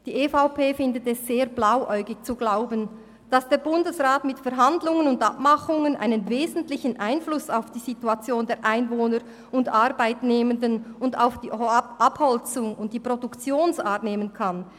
Die EVP findet es sehr blauäugig zu glauben, dass der Bundesrat mit Verhandlungen und Abmachungen einen wesentlichen Einfluss auf die Situation der Einwohner und Arbeitnehmenden und auch auf die Abholzung sowie Produktionsart nehmen kann.